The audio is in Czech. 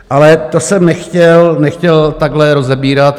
Ale to jsem nechtěl takhle rozebírat.